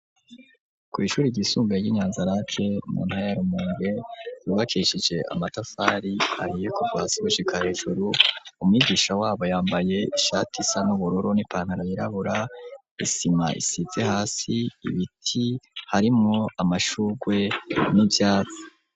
Kw’ishuri ryisumbuye ry'inyanzarake mu ntara ya rumonge yubakishije amatafari ahiye kuva hasi gushika hejuru ,umwigisha wabo yambaye ishati isa n'ubururu n’ipantaro y’irabura, isima isize hasi ,ibiti harimwo amashugwe n’ivyatsi.